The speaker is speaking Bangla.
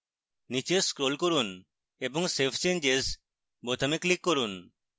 নীচে scroll করুন এবং save changes বোতামে click করুন